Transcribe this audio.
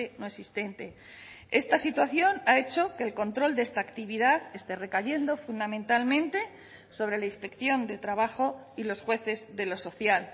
no existente esta situación ha hecho que el control de esta actividad esté recayendo fundamentalmente sobre la inspección de trabajo y los jueces de lo social